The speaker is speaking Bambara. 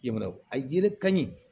Yɛlɛ a ye ka ɲi